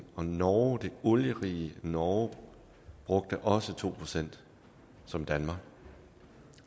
og norge det olierige norge brugte også to procent som danmark